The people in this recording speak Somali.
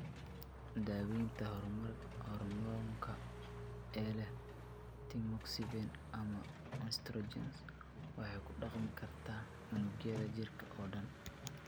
Daaweynta hoormoonka ee leh tamoxifen ama estrogens waxay ku dhaqmi kartaa unugyada jirka oo dhan.